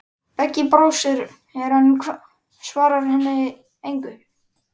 Beggi brosir, en svarar henni engu.